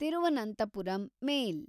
Thiruvananthapuram ಮೇಲ್